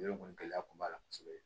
gɛlɛya kun b'a la kosɛbɛ